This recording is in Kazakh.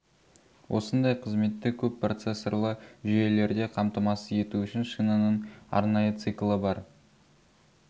осындай қызметті көп процессорлы жүйелерде қамтамасыз ету үшін шинаның арнайы циклы бар